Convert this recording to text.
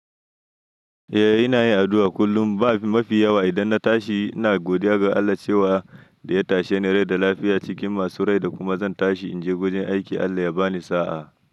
Eh ina yin addu'a kullum. Ba mafi yawa idan na tashi ina godiya ga Allah cewa da ya tashe ni rai da lafiya cikin masu rai da kuma zan tashi in je wajen aiki Allah ya bani sa'a.